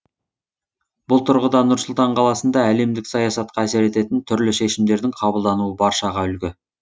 бұл тұрғыда нұр сұлтан қаласында әлемдік саясатқа әсер ететін түрлі шешімдердің қабылдануы баршаға үлгі